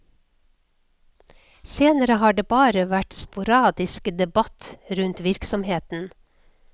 Senere har det bare vært sporadisk debatt rundt virksomheten.